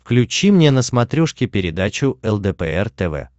включи мне на смотрешке передачу лдпр тв